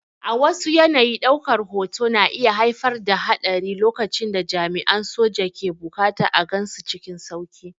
A wasu yanayi, ɗaukar hoto na iya haifar da haɗari lokacin da jami'an soja ke buƙatar a gansu cikin sauƙi.